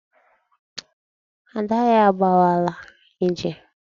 Ada ya agawala ije.